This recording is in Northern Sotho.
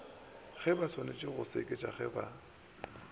gebaswanetše go seketša ge ba